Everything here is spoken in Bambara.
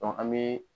an bɛ